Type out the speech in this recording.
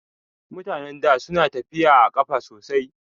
Mutanen da suna tafiya a ƙafa sosai